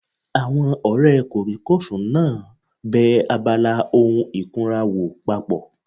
Àwọn ọ̀rẹ́ kòríkòsùn náà bẹ abala ohun ìkunra wò papọ̀